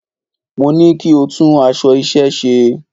Mo ní kí o tún aṣọ iṣẹ́ ẹ ṣe!